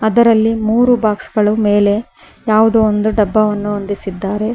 ಇದರಲ್ಲಿ ಮೂರು ಬಾಕ್ಸ್ ಗಳು ಮೇಲೆ ಯಾವುದೋ ಒಂದು ಡಬ್ಬವನ್ನು ಹೊಂದಿಸಿದ್ದಾರೆ.